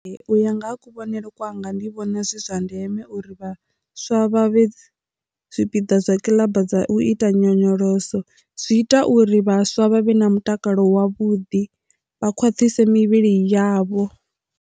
U ya nga ha kuvhonele kwanga ndi vhona zwi zwa ndeme uri vhaswa vha vhe zwipiḓa zwa kiḽaba dza u ita nyonyoloso zwi ita uri vhaswa vhavhe na mutakalo wavhuḓi vha khwaṱhise mivhili yavho.